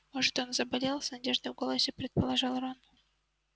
может он заболел с надеждой в голосе предположил рон